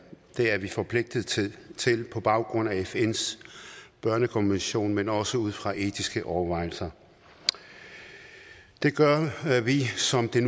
det er vi forpligtet til til på baggrund af fns børnekonvention men også ud fra etiske overvejelser det gør vi som det